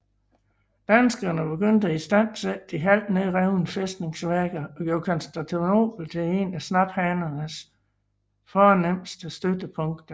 Danskerne begyndte at istandsætte de halvt nedrevne fæstningsværker og gjorde Kristianopel til en af snaphanernes fornemmeste støttepunkter